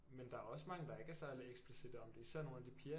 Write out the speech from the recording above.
Men der er også mange der ikke er særlig eksplicitte om det især nogle af de piger